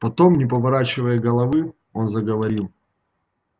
потом не поворачивая головы он заговорил